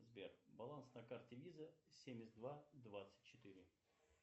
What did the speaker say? сбер баланс на карте виза семьдесят два двадцать четыре